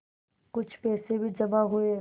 कुछ पैसे भी जमा हुए